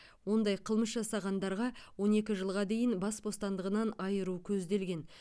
ондай қылмыс жасағандарға он екі жылға дейін бас бостандығынан айыру көзделген